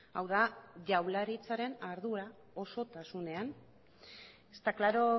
hau da jaurlaritzaren ardura osotasunean está claro